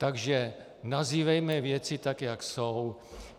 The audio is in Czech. Takže nazývejme věci tak, jak jsou.